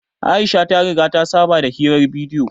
Aisha ta riga ta saba da hirar bidiyo